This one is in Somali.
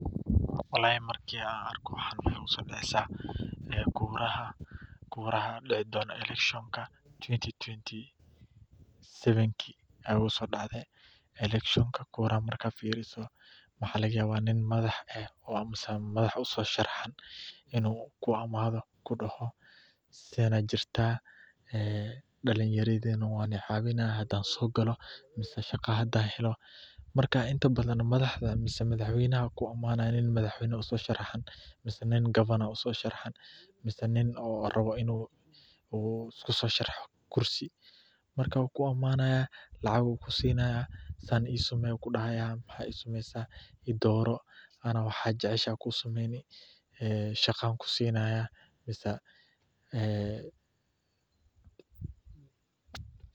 Markaan arko waxaa igu soo dacaya kuraha, markaad fiirso waxaa laga yaaba nin madax eh inuu kuu imaado, inta badan lacag ayuu kusinaya, wuxuu kudahaya i dooro, shaqa ayaan kusinaayan.